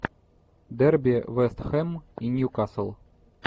дерби вест хэм и ньюкасл